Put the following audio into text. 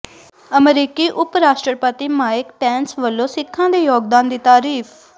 ਅਮਰੀਕੀ ਉਪ ਰਾਸ਼ਟਰਪਤੀ ਮਾਈਕ ਪੈਂਸ ਵੱਲੋਂ ਸਿੱਖਾਂ ਦੇ ਯੋਗਦਾਨ ਦੀ ਤਾਰੀਫ਼